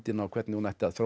og hvernig hún ætti að þróast